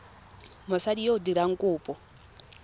mosadi yo o dirang kopo